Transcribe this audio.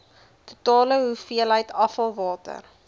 totale hoeveelheid afvalwater